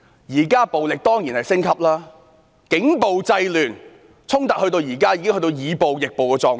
現在暴力當然升級，警暴制亂，衝突現在已經變成以暴易暴的狀態。